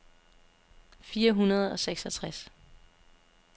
fire hundrede og seksogtres